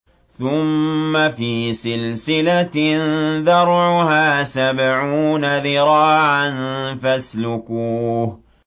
ثُمَّ فِي سِلْسِلَةٍ ذَرْعُهَا سَبْعُونَ ذِرَاعًا فَاسْلُكُوهُ